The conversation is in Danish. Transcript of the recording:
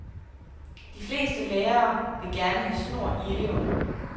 De fleste lærere vil gerne have snor i eleverne.